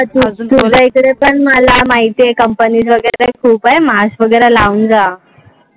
तुमच्याइकडे पण मला माहितीये couple वगैरे ते पण खूप आहे. Mask वगैरे लाऊन जा.